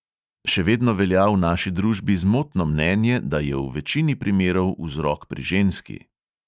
Še vedno velja v naši družbi zmotno mnenje, da je v večini primerov vzrok pri ženski.